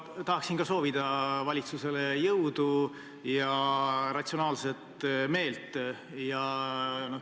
Ma tahan ka soovida valitsusele jõudu ja ratsionaalset mõtlemist.